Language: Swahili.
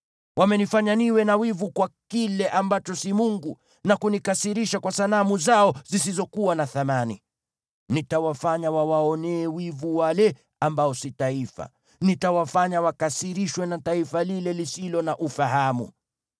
Wamenifanya niwe na wivu kwa kile ambacho si mungu, na kunikasirisha kwa sanamu zao zisizokuwa na thamani. Nitawafanya wawaonee wivu wale ambao si taifa. Nitawafanya wakasirishwe na taifa lile lisilo na ufahamu.